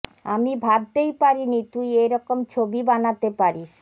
আমি ভাবতেই পারিনি তুই এ রকম ছবি বানাতে পারিস